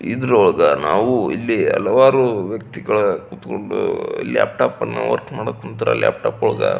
ಇದರ ಒಳಗ ನಾವು ಇಲ್ಲಿ ಹಲವಾರು ವ್ಯಕ್ತಿಗಳು ಕುತ್ಕೊಂಡು ಲ್ಯಾಪ್ಟಾಪ್ ವರ್ಕ್ ಮಾಡಕ್ ಕುಂತಾರ ಲ್ಯಾಪ್ಟಾಪ್ ಒಳಗ.